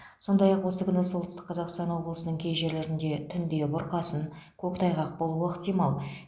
сондай ақ осы күні солтүстік қазақстан облысының кей жерлерінде түнде бұрқасын көктайғақ болуы ықтимал